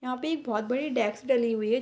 यहाँ पे एक बहुत बड़े डेस्क डले हुए है।